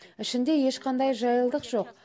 ішінде ешқандай жайлылық жоқ